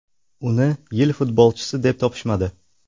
Uni yil futbolchisi deb topishmadi.